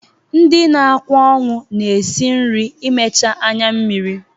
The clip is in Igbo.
Ndị na-akwa ọnwụ na-esi nri imecha anyammiri.